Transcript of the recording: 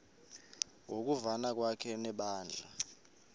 ngokuvana kwakhe nebandla